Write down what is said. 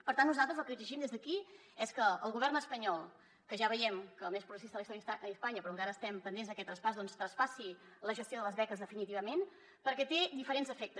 per tant nosaltres el que exigim des d’aquí és que el govern espanyol que ja veiem que és el més progressista de la història d’espanya però encara estem pen·dents d’aquest traspàs doncs traspassi la gestió de les beques definitivament per·què té diferents efectes